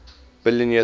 billion years ago